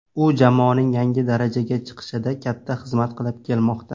U jamoaning yangi darajaga chiqishida katta xizmat qilib kelmoqda.